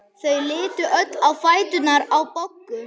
Þau litu öll á fæturna á Boggu.